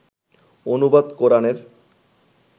অনুবাদ কোরানের